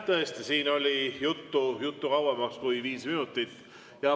Tõesti, siin oli juttu kauemaks kui viis minutit.